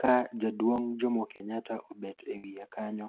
ka jaduong' Jomo Kenyatta obet e wiye kanyo.